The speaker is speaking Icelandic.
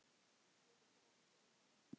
geri grein fyrir honum?